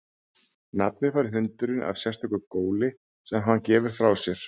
Nafnið fær hundurinn af sérstöku góli sem hann gefur frá sér.